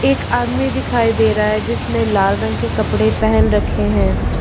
एक आदमी दिखाई दे रहा है जिसने लाल रंग के कपड़े पहन रखे हैं।